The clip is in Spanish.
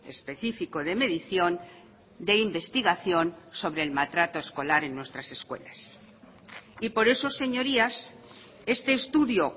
específico de medición de investigación sobre el maltrato escolar en nuestras escuelas y por eso señorías este estudio